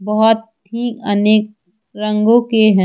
बहुत ही अनेक रंगों के हैं।